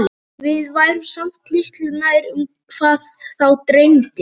Við værum samt litlu nær um það HVAÐ þá dreymdi.